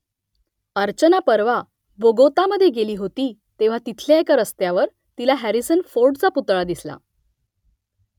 अर्चना परवा बोगोतामध्ये गेली होती तेव्हा तिथल्या एका रस्त्यावर तिला हॅरिसन फोर्डचा पुतळा दिसला